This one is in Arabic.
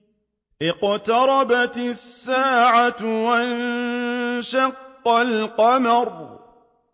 اقْتَرَبَتِ السَّاعَةُ وَانشَقَّ الْقَمَرُ